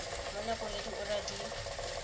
mo nakong ya diura di